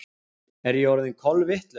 Er ég orðin kolvitlaus?